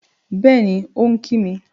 Bẹ́ẹ̀ni, ó ń kí mi